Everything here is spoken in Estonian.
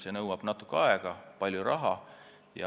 See nõuab natuke aega ja palju raha.